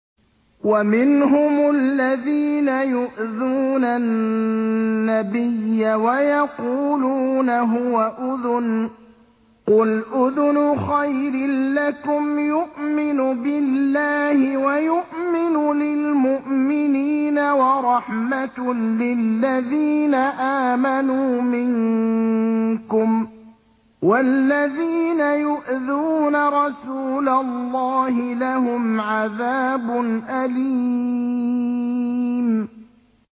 وَمِنْهُمُ الَّذِينَ يُؤْذُونَ النَّبِيَّ وَيَقُولُونَ هُوَ أُذُنٌ ۚ قُلْ أُذُنُ خَيْرٍ لَّكُمْ يُؤْمِنُ بِاللَّهِ وَيُؤْمِنُ لِلْمُؤْمِنِينَ وَرَحْمَةٌ لِّلَّذِينَ آمَنُوا مِنكُمْ ۚ وَالَّذِينَ يُؤْذُونَ رَسُولَ اللَّهِ لَهُمْ عَذَابٌ أَلِيمٌ